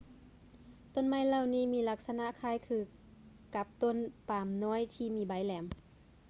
ຕົ້ນໄມ້ເຫຼົ່ານີ້ ມີລັກສະນະຄ້າຍຄືກັບຕົ້ນປາມນ້ອຍທີ່ມີໃບແຫຼມ